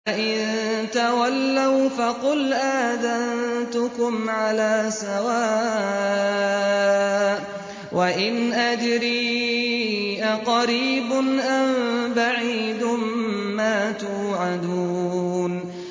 فَإِن تَوَلَّوْا فَقُلْ آذَنتُكُمْ عَلَىٰ سَوَاءٍ ۖ وَإِنْ أَدْرِي أَقَرِيبٌ أَم بَعِيدٌ مَّا تُوعَدُونَ